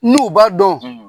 N'u b'a dɔn